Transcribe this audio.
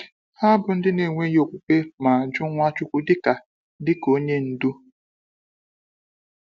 Ha bụ ndị na-enweghị okwukwe ma jụ Nwachukwu dịka dịka onye ndu.